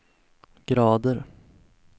grader